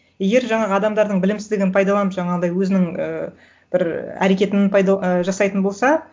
егер жаңағы адамдардың білімсіздігін пайдаланып жаңағындай өзінің ыыы бір әрекетін і жасайтын болса